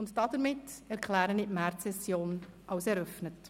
Damit erkläre ich die Märzsession für eröffnet.